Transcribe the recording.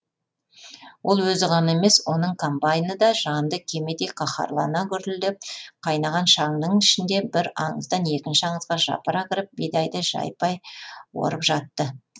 ол өзі ғана емес оның комбайны да жанды кемедей қаһарлана гүрілдеп қайнаған шаңның ішінде бір аңыздан екінші аңызға жапыра кіріп бидайды жайпай орып жатты